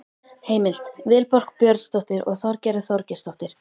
Heimild: Vilborg Björnsdóttir og Þorgerður Þorgeirsdóttir.